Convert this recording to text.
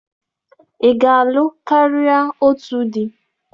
Ị ga-alụ karịa otu di?